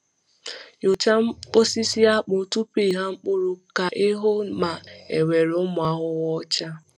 Nyochaa osisi akpụ tupu ịgha mkpụrụ ka ị hụ ma enwere ụmụ ahụhụ ọcha.